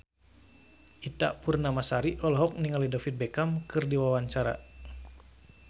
Ita Purnamasari olohok ningali David Beckham keur diwawancara